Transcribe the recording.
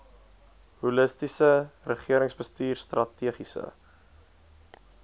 holistiese regeringsbestuur strategiese